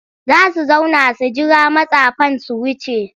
Za su zauna su jira matsafan su wuce.